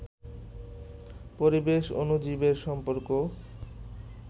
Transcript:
পরিবেশ, অণুজীবের সম্পর্ক